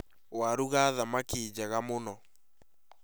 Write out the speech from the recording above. Warũga thamaki njega mũno